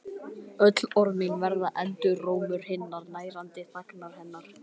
Öll orð mín verða endurómur hinnar nærandi þagnar hennar.